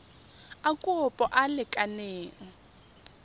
a kopo a a lekaneng